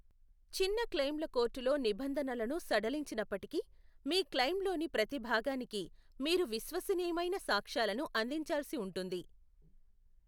చిన్న క్లెయిమ్ల కోర్టులో నిబంధనలను సడలించినప్పటికీ, మీ క్లెయిమ్లోని ప్రతి భాగానికి మీరు విశ్వసనీయమైన సాక్ష్యాలను అందించాల్సి ఉంటుంది.